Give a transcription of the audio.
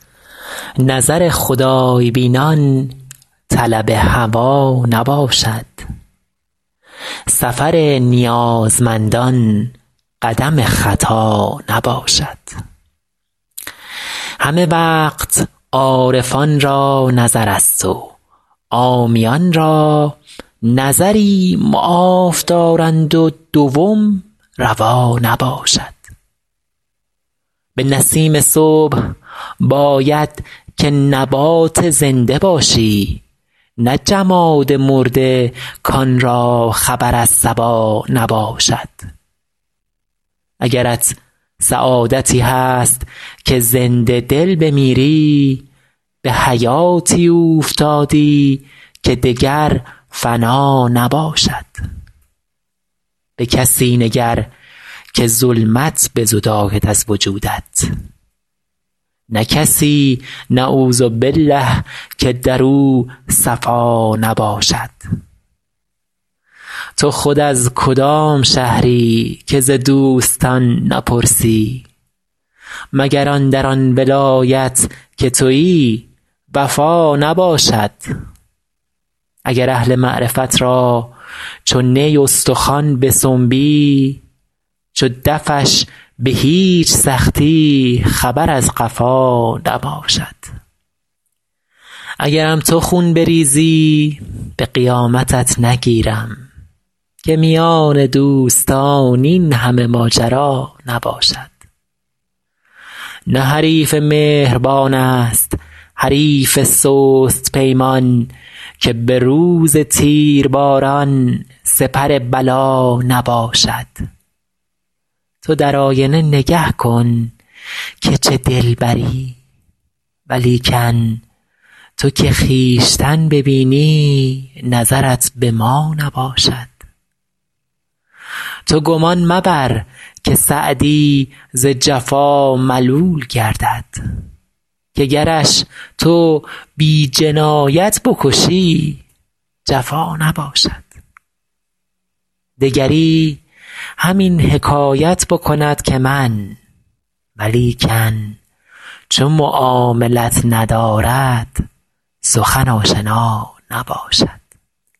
نظر خدای بینان طلب هوا نباشد سفر نیازمندان قدم خطا نباشد همه وقت عارفان را نظرست و عامیان را نظری معاف دارند و دوم روا نباشد به نسیم صبح باید که نبات زنده باشی نه جماد مرده کان را خبر از صبا نباشد اگرت سعادتی هست که زنده دل بمیری به حیاتی اوفتادی که دگر فنا نباشد به کسی نگر که ظلمت بزداید از وجودت نه کسی نعوذبالله که در او صفا نباشد تو خود از کدام شهری که ز دوستان نپرسی مگر اندر آن ولایت که تویی وفا نباشد اگر اهل معرفت را چو نی استخوان بسنبی چو دفش به هیچ سختی خبر از قفا نباشد اگرم تو خون بریزی به قیامتت نگیرم که میان دوستان این همه ماجرا نباشد نه حریف مهربان ست حریف سست پیمان که به روز تیرباران سپر بلا نباشد تو در آینه نگه کن که چه دلبری ولیکن تو که خویشتن ببینی نظرت به ما نباشد تو گمان مبر که سعدی ز جفا ملول گردد که گرش تو بی جنایت بکشی جفا نباشد دگری همین حکایت بکند که من ولیکن چو معاملت ندارد سخن آشنا نباشد